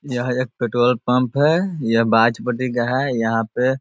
यह एक petrol pump है। यह का है। यहाँ पे --